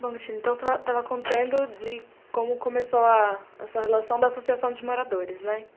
Bom, Cristina, então você estava contando de como começou a sua relação da Associação de Moradores, né?